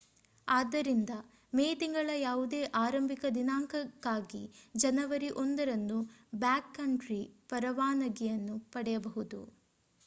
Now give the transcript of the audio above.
ಆದ್ದರಿಂದ ಮೇ ತಿಂಗಳ ಯಾವುದೇ ಆರಂಭಿಕ ದಿನಾಂಕಕ್ಕಾಗಿ ಜನವರಿ 1 ರಂದು ಬ್ಯಾಕ್‌ಕಂಟ್ರಿ ಪರವಾನಗಿಯನ್ನು ಪಡೆಯಬಹುದು